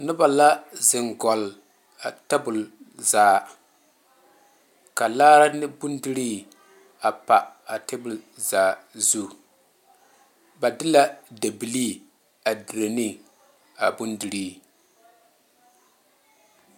Noba la zeŋ gɔgle a tabol zaa ka laare ne bondire a pa a tabol zaa zu ba de la dabilee a dire ne a bondire.